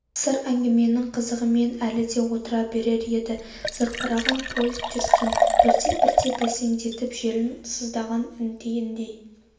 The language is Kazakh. қысыр әңгіменің қызығымен әлі де отыра берер еді зырқыраған поезд жүрсін бірте-бірте бәсеңдетіп желін сыздаған інгендей